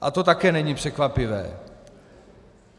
A to také není překvapivé.